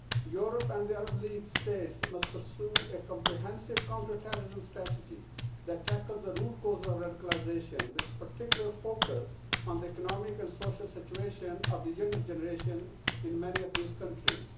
Europe and the Arab League states must pursue a comprehensive counter terrorism strategy that tackles the root cause of radicalisation, with particular focus on the economic and social situation of the younger generation in many of these countries.